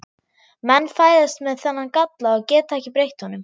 Menn fæðast með þennan galla og geta ekki breytt honum.